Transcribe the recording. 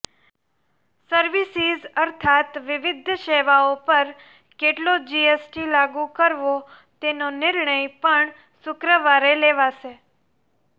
services અર્થાત વિવિધ સેવાઓ પર કેટલો જીએસટી લાગુ કરવો તેનો નિર્ણય પણ શુક્રવારે લેવાશે